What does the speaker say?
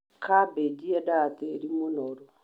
Kambĩnji yeendaga tĩri mũnoru.